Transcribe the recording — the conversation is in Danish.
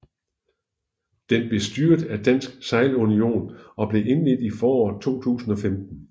Den blev styret af Dansk Sejlunion og blev indledt i foråret 2015